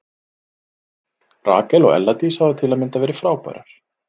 Rakel og Ella Dís hafa til að mynda verið frábærar.